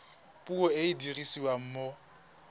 puo e e dirisiwang mo